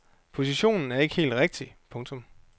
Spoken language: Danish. Positionen er ikke helt rigtig. punktum